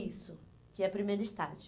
Isso, que é primeiro estágio.